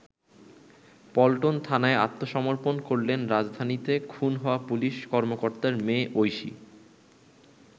পল্টন থানায় আত্মসমর্পন করলেন রাজধানীতে খুন হওয়া পুলিশ কর্মকর্তার মেয়ে ঐশী।